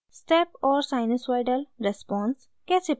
* step और sinusoidal responses कैसे plot करते हैं